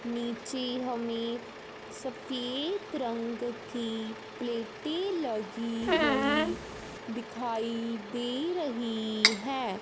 नीचे हमें सफेद रंग की प्लेटें लगी हुई दिखाई दे रही हैं।